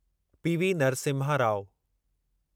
PV Narasimha Rau